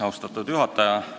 Austatud juhataja!